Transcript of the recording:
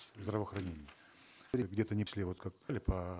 здравоохранения где то внесли вот как по